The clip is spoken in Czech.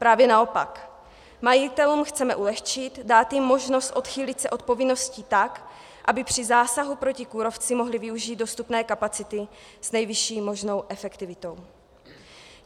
Právě naopak, majitelům chceme ulehčit, dát jim možnost odchýlit se od povinností tak, aby při zásahu proti kůrovci mohli využít dostupné kapacity s nejvyšší možnou efektivitou.